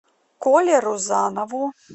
коле рузанову